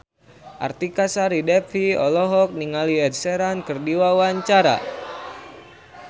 Artika Sari Devi olohok ningali Ed Sheeran keur diwawancara